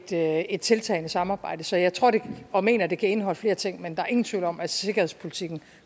taget et tiltagende samarbejde så jeg tror og mener at det kan indeholde flere ting men der er ingen tvivl om at sikkerhedspolitikken